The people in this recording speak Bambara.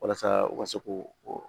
Walasa u ka se k'o